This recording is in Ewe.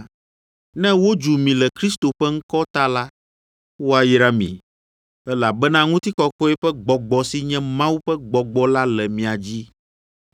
Ne wodzu mi le Kristo ƒe ŋkɔ ta la, woayra mi, elabena ŋutikɔkɔe ƒe Gbɔgbɔ si nye Mawu ƒe Gbɔgbɔ la le mia dzi.